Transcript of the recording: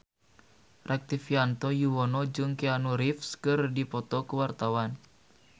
Rektivianto Yoewono jeung Keanu Reeves keur dipoto ku wartawan